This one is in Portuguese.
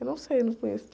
Eu não sei, eu não conheço.